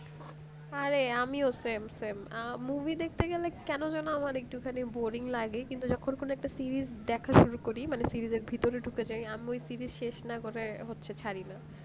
আরে আমিও same same আ movie দেখতে গেলে কেন যেন আমার একটু খানিক boring লাগে কিন্তু যখন কোন একটা series দেখা শুরু করি series র ভিতর ঢুকে যাই আমি series শেষ না করে হচ্ছে ছাড়ি না